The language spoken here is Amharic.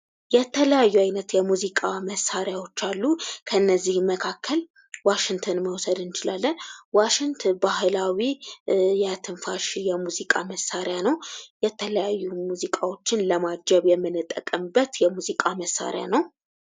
የተለያዩ አይነት የሙዚቃ መሳሪያዎች አሉ። እነዚህም መካከል ዋሽንትን መውሰድ እንችላለን። ዋሽንት ባህላዊ የትንፋሽ የሙዚቃ መሳሪያ ነው ።የተለያዩ ሙዚቃዎችን ለማጀብ የምንጠቀምበት የሙዚቃ መሳሪያ ነው።